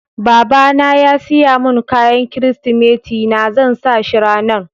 Baba na ya siya mun kayan kiristimeti na, zan sa shi ranan.